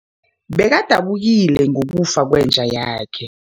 Bekadabukile ngokufa kwenja yakhe.